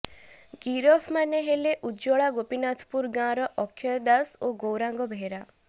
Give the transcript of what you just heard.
ଗିରଫ ମାନେ ହେଲେ ଉଜ୍ୱଳା ଗୋପିନାଥପୁର ଗାଁର ଅକ୍ଷୟ ଦାଶ ଓ ଗୌରାଙ୍ଗ ବେହେରା